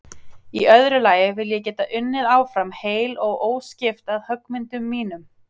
Í öðru lagi vil ég geta unnið áfram heil og óskipt að höggmyndum mínum.